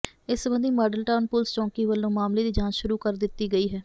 ਇਸ ਸਬੰਧੀ model town police ਚੌਂਕੀ ਵੱਲੋਂ ਮਾਮਲੇ ਦੀ ਜਾਂਚ ਸ਼ੁਰੂ ਕਰ ਦਿੱਤੀ ਗਈ ਹੈ